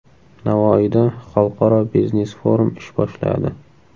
Navoiyda xalqaro biznes-forum ish boshladi.